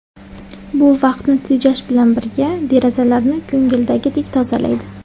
Bu vaqtni tejash bilan birga, derazalarni ko‘ngildagidek tozalaydi.